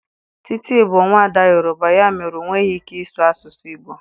Titi bụ nwaada Yoruba, ya mere, ọ nweghị ike ịsụ asụsụ Igbo.